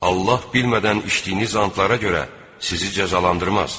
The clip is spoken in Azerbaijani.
Allah bilmədən içdiyiniz andlara görə sizi cəzalandırmaz.